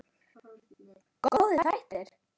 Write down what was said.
Góðir þættir.